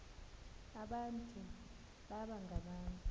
abantu baba ngabantu